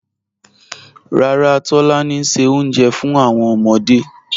Ràrà, Tolani n ṣẹ ọ̀unjẹ̀ fún awọn ọmọdé